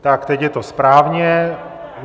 Tak, teď je to správně.